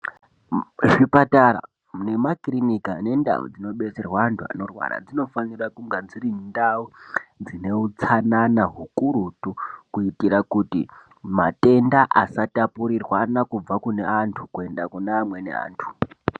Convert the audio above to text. Muzvipatara nemakirinika nendau dzinodetserwa andu anorwara dzinofanirwa kunge dziri ndau dzine utsanana kuitira kuti matenda asatapurirwana kubva kune amweni andu kunda kuneamweni andu